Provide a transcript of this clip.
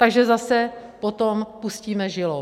Takže zase potom pustíme žilou.